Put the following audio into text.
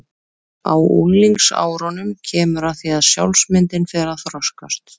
Á unglingsárunum kemur að því að sjálfsmyndin fer að þroskast.